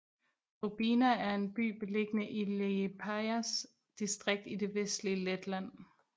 Grobiņa er en by beliggende i Liepājas distrikt i det vestlige Letland